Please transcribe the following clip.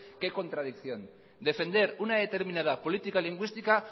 qué contradicción defender una determinada política lingüística